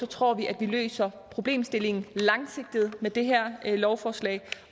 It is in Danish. tror vi at vi løser problemstillingen langsigtet med det her lovforslag